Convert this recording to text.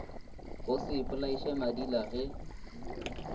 go še ipolaiše madila ge